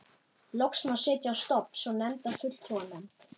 Loks má setja á stofn svo nefnda fulltrúanefnd.